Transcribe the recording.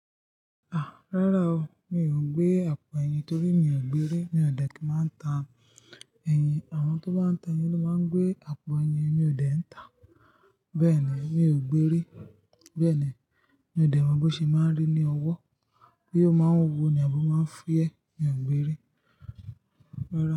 Ah! Rárá o, mi ò gbé àpò ẹyin torí mi ò gbérí. Mi ò dẹ̀ kí máa ń tà ẹyin. Àwọn tó bá ń tà ẹyin ló máa ń gbé àpò ẹyin. Mi ò dẹ̀ ń tà. Bẹ́ẹ̀ ni, mi ò gbérí. Bẹ́ẹ̀ ni, mi ò dẹ̀ mọ̀ bó ṣe máa ń rí ní owó, boya ó máa ń wuwo ni àbí ó máa ń fúyẹ́. Mi ò gbérí. Rárá.